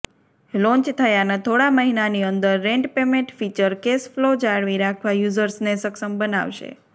launch થયાના થોડા મહિનાની અંદર rent payment feature cash flow જાળવી રાખવા યુઝર્સને સક્ષમ બનાવશે